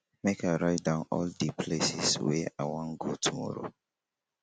make i write down all di places wey i wan go tomorrow.